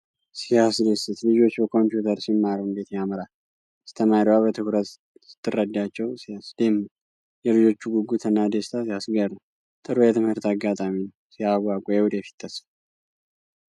! ሲያስደስት! ልጆች በኮምፒዩተር ሲማሩ እንዴት ያምራል! አስተማሪዋ በትኩረት ስትረዳቸው ሲያስደምም! የልጆቹ ጉጉትና ደስታ ሲያስገርም! ጥሩ የትምህርት አጋጣሚ ነው! ሲያጓጓ! የወደፊት ተስፋ!